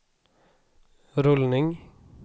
rullning